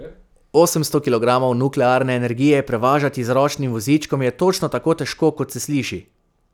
Osemsto kilogramov nuklearne energije prevažati z ročnim vozičkom je točno tako težko, kot se sliši.